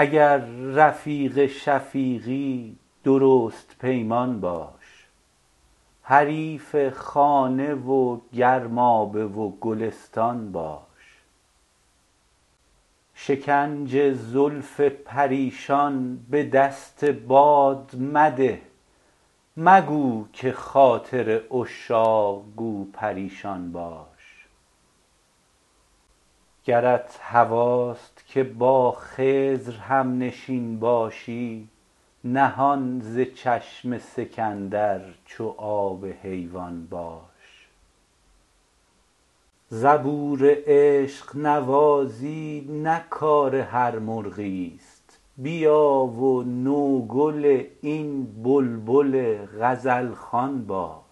اگر رفیق شفیقی درست پیمان باش حریف خانه و گرمابه و گلستان باش شکنج زلف پریشان به دست باد مده مگو که خاطر عشاق گو پریشان باش گرت هواست که با خضر هم نشین باشی نهان ز چشم سکندر چو آب حیوان باش زبور عشق نوازی نه کار هر مرغی است بیا و نوگل این بلبل غزل خوان باش